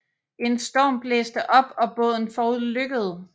En storm blæste op og båden forulykkede